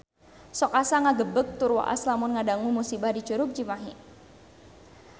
Sok asa ngagebeg tur waas lamun ngadangu musibah di Curug Cimahi